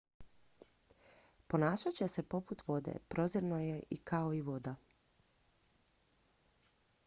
ponašat će se poput vode prozirno je kao i voda